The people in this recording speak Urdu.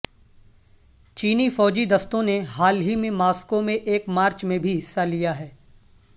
چینی فوجی دستوں نے حال ہی میں ماسکو میں ایک مارچ میں بھی حصہ لیاہے